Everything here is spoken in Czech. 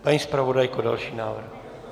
Paní zpravodajko, další návrh!